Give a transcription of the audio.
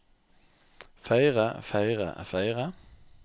feire feire feire